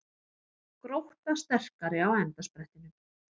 Grótta sterkari á endasprettinum